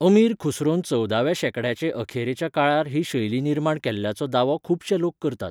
अमीर खुसरोन चवदाव्या शेंकड्याचे अखेरेच्या काळार ही शैली निर्माण केल्ल्याचो दावो खूबशे लोक करतात.